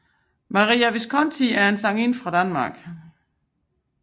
Maria Viskonti er en sangerinde fra Danmark